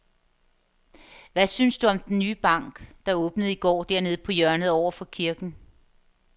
Hvad synes du om den nye bank, der åbnede i går dernede på hjørnet over for kirken?